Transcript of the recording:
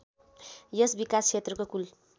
यस विकासक्षेत्रको कुल